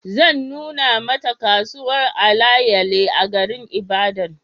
Zan nuna Mata kasuwar alayale a garin Ibadan